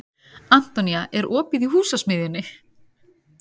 Antonía, er opið í Húsasmiðjunni?